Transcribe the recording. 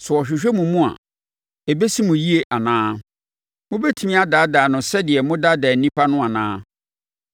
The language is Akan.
Sɛ ɔhwehwɛ mo mu a, ɛbɛsi mo yie anaa? Mobɛtumi adaadaa no sɛdeɛ modaadaa nnipa no anaa?